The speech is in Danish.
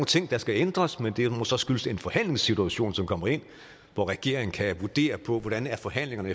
ting der skal ændres men det må så skyldes en forhandlingssituation som kommer ind hvor regeringen kan vurdere på hvordan forhandlingerne